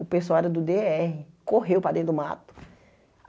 O pessoal era do Dê erre, correu para dentro do mato.